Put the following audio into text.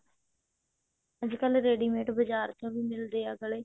ਅੱਜ ਕਲ ready mate ਬਜਾਰ ਚੋਂ ਵੀ ਮਿਲਦੇ ਆ ਗਲੇ